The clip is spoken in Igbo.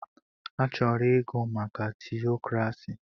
Achọrọ ịgụ maka tiokrasi.